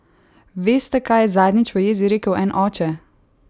Veste, kaj je zadnjič v jezi rekel en oče?